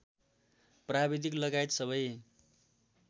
प्राविधिक लगायत सबै